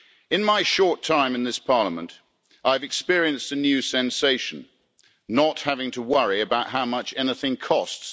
In my short time in this Parliament, I have experienced a new sensation not having to worry about how much anything costs.